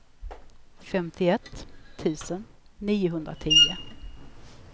femtioett tusen niohundratio